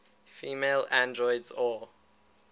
female androids or